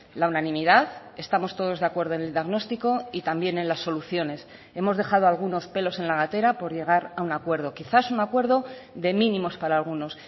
la unanimidad estamos todos de acuerdo en el diagnóstico y también en las soluciones hemos dejado algunos pelos en la gatera por llegar a un acuerdo quizás un acuerdo de mínimos para algunos